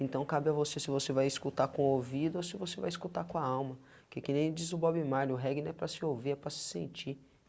Então cabe a você se você vai escutar com o ouvido ou se você vai escutar com a alma, porque que nem diz o Bob Marley, o reggae não é para se ouvir, é para se sentir.